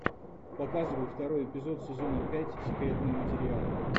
показывай второй эпизод сезона пять секретные материалы